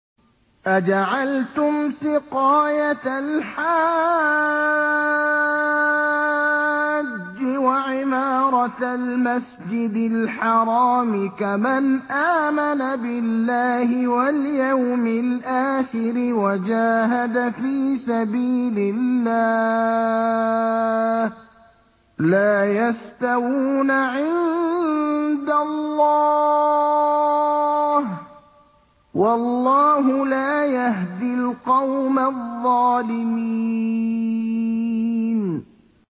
۞ أَجَعَلْتُمْ سِقَايَةَ الْحَاجِّ وَعِمَارَةَ الْمَسْجِدِ الْحَرَامِ كَمَنْ آمَنَ بِاللَّهِ وَالْيَوْمِ الْآخِرِ وَجَاهَدَ فِي سَبِيلِ اللَّهِ ۚ لَا يَسْتَوُونَ عِندَ اللَّهِ ۗ وَاللَّهُ لَا يَهْدِي الْقَوْمَ الظَّالِمِينَ